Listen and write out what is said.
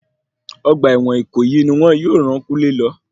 Ọgbà ẹ̀wọ̀n ìkòyí ni wọn yóò ràn kúnlé lọ.